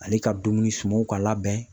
Ale ka dumuni sumanw ka labɛn